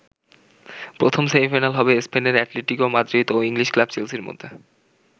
প্রথম সেমিফাইনাল হবে স্পেনের অ্যাটলেটিকো মাদ্রিদ ও ইংলিশ ক্লাব চেলসির মধ্যে।